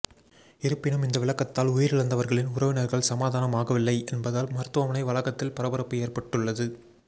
இருப்பினும் இந்த விளக்கத்தால் உயிரிழந்தவர்களின் உறவினர்கள் சமாதானம் ஆகவில்லை என்பதால் மருத்துவமனை வளாகத்தில் பரபரப்பு ஏற்பட்டுள்ளது